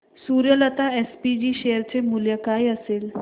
Suryalata SPG share चे मूल्य काय असेल